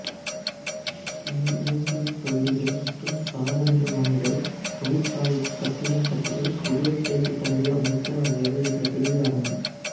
இயந்திரத் தொகுதிகள் மற்றும் சாதனங்கள் வாங்குதல் தொழிற்சாலைக்குக் கட்டிடம் கட்டுதல் புதிய செயல்திட்டங்களை அமைத்தல் ஆகியவை இந்தப் பிரிவில் அடங்கும்